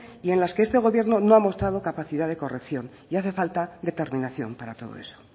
y en las que este gobierno no ha mostrado capacidad de corrección y hace falta determinación para todo eso